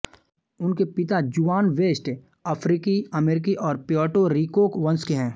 उनके पिता Juan West अफ्रीकी अमेरिकी और प्यर्टो रिको वंश के हैं